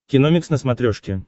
киномикс на смотрешке